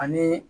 Ani